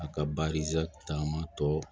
A ka taama tɔ